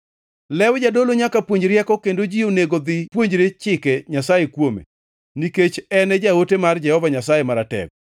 “Lew jadolo nyaka puonj rieko kendo ji onego dhi puonjre Chike Nyasaye kuome nikech en jaote mar Jehova Nyasaye Maratego.